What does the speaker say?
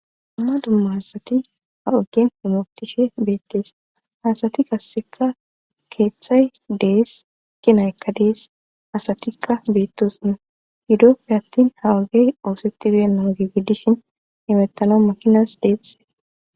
Dumma dumma asati ha okin homotishe beettees asati kasseka keeththay dees kinaykka dees asatikka beettosune yidofir attin ha wagey oosetti diyennan geggidishin imettana makinas deesse.